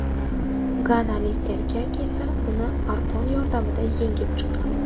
Ganalik erkak esa uni arqon yordamida yengib chiqqan.